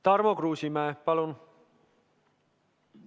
Tarmo Kruusimäe, palun!